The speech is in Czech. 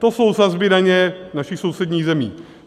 To jsou sazby daně našich sousedních zemí.